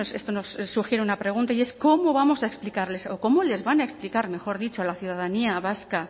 esto nos sugiere una pregunta y es cómo vamos a explicarles o cómo les van a explicar mejor dicho a la ciudadanía vasca